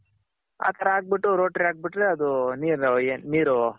ಆ ತರ ಹಾಕ್ ಬಿಟ್ಟು ಹಾಕ್ ಬಿಟ್ರೆ ಅದು ನಿರು ಏನ್